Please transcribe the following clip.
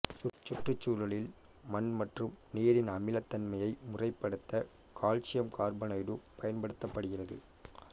சுற்றுச் சூழலில் மண் மற்றும் நீரின் அமிலத்தன்மையை முறைப்படுத்த கால்சியம் கார்பனேட்டு பயன்படுத்தப்படுகிறது